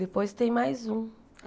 Depois tem mais um.